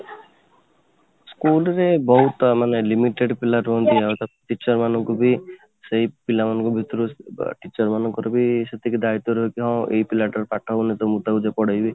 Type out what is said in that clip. school ରେ ମାନେ ବହୁତ ମାନେ limited ପିଲା ରୁହନ୍ତି ଆଉ ତାକୁ teacher ମାନଙ୍କୁ ବି ସେଇ ପିଲାମାନଙ୍କ ଭିତରୁ teacher ମାନଙ୍କର ବି ସେତିକି ଦାୟିତ୍ୱ ରହିଥାଏ କି ହଁ ଏଇ ପିଲା ଟା ର ପାଠ ଭଲ ତ ମୁଁ ତାକୁ ପାଠ ଭଲ ସେ ପଢ଼େଇବି